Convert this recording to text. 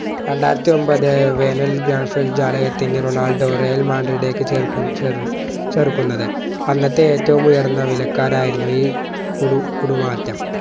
രണ്ടായിരത്തിയൊന്പത് Ronaldo Real മാഡ്രിഡിലേക്ക് ചേര്ക്കു ചേർ ചേർക്കുന്നത് അന്നത്തെ ഏറ്റവും ഉയർന്ന വിലക്കാരായിരുന്നു ഈ കുടു കൂടുമാറ്റം